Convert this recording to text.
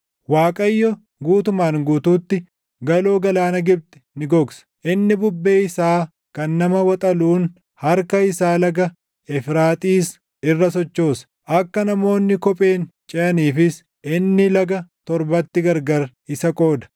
Waaqayyo guutumaan guutuutti, galoo galaana Gibxi ni gogsa; inni bubbee isaa kan nama waxaluun harka isaa laga Efraaxiis irra sochoosa. Akka namoonni kopheen ceʼaniifis inni laga torbatti gargar isa qooda.